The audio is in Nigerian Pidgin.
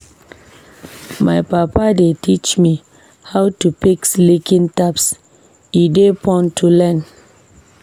My papa dey teach me how to fix leaking taps, e dey fun to learn.